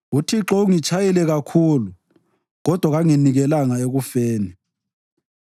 UThixo ungitshayile kakhulu, kodwa kanginikelanga ekufeni.